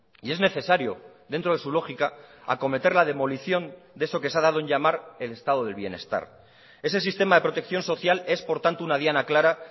y es necesario dentro de su lógica acometer la demolición de eso que se ha dado en llamar el estado del bienestar ese sistema de protección social es por tanto una diana clara